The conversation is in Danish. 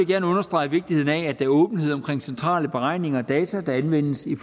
gerne understrege vigtigheden af at der er åbenhed omkring centrale beregninger og data der anvendes i